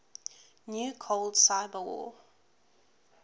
new cold cyberwar